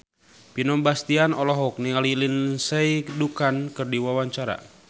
Vino Bastian olohok ningali Lindsay Ducan keur diwawancara